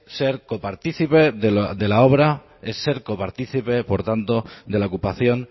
ser copartícipe de la obra es ser copartícipe por tanto de la ocupación